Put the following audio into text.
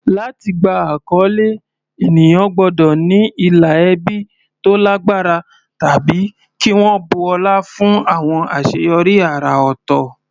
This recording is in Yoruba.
Láti gba àkọlé, ènìyàn gbọ́dọ̀ ní ìlà ẹbí tó lágbára tàbí kí wọ́n bu ọlá fún àwọn àṣeyọrí àrà ọ̀tọ̀.